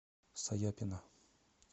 саяпина